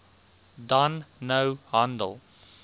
dan nou handel